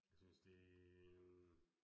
Jeg synes det øh